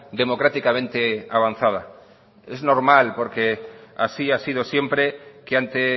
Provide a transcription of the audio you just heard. democráticamente avanzada es normal porque así ha sido siempre que ante